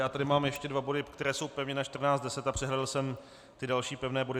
Já tady mám ještě dva body, které jsou pevně na 14.10, a přehlédl jsem ty další pevné body.